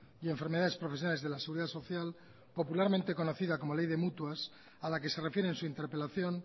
y enfermedades profesionales de la seguridad social popularmente conocida como ley de mutuas a la que se refiere en su interpelación